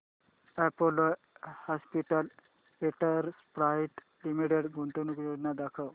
Apollo Hospitals Enterprise Limited गुंतवणूक योजना दाखव